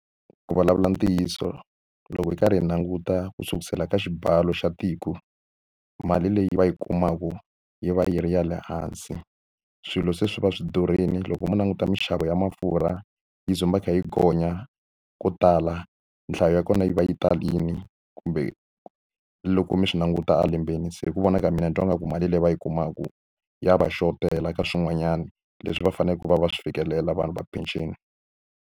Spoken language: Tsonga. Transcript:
Ku vulavula ntiyiso loko hi karhi hi languta ku sukusela ka xibalo xa tiko mali leyi va yi kumaka yi va yi ri ya lehansi swilo se swi va swi durheli loko mo langutisa minxavo ya mafurha yi tshama yi kha yi gonya ko tala nhlayo ya kona yi va yi talini kumbe loko mi swi languta a lembeni se hi ku vona ka mina ni twa nga ku mali leyi va yi kumaku ya va xotela ka swin'wanyani leswi va faneleke va swi fikelela vanhu va penceni.